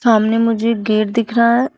आमने मुझे गेट दिख रहा है।